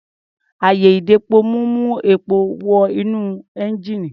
Àyè-ìdepomú ń mú epo wọ inú ẹ́ńjíìnì.